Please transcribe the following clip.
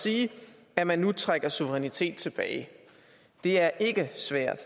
sige at man nu trækker suverænitet tilbage det er ikke svært